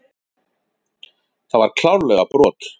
Það var klárlega brot.